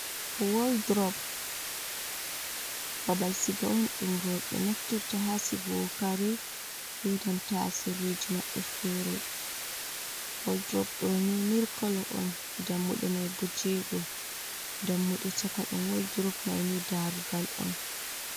Waldrop babal siga on ɗum rowɓe naftirta haa sigugo kare be nanta sirriji maɓɓe fere. Waldrop ɗo ni milk kolo on, dammuɗe mai bo jeego, dammuɗe caka ɗum waldrop mai ni daarugal on.